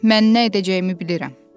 Mən nə edəcəyimi bilirəm.